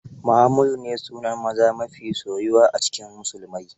Muhammadu ne sunan maza mafi soyuwa a cikin musulmai.